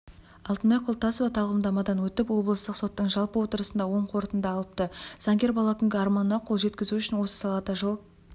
алтынай құлтасова тағлымдамадан өтіп облыстық соттың жалпы отырысында оң қорытынды алыпты заңгер бала күнгі арманына қол жеткізу үшін осы салада жыл